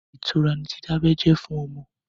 Ìtura ni dídábẹ́ jẹ́ fún ọmọ.